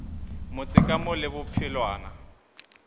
motse ka mo le bophelwana